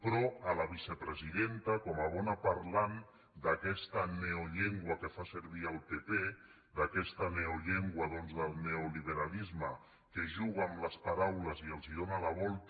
però a la vicepresidenta com a bona parlant d’aquesta neollengua que fa servir el pp d’aquesta neollengua doncs del neoliberalisme que juga amb les paraules i els dóna la volta